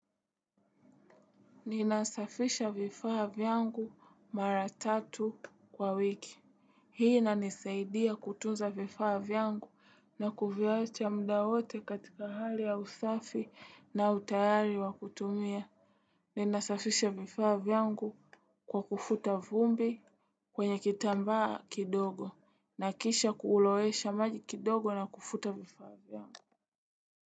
Ninasafisha vifaa vyangu mara tatu kwa wiki. Hii inanisaidia kutunza vifaa vyangu na kuviacha muda wote katika hali ya usafi na utayari wa kutumia. Ninasafisha vifaa vyangu kwa kufuta vumbi kwenye kitamba kidogo. Nahakikisha kuulowesha maji kidogo na kufuta vifaa vyangu.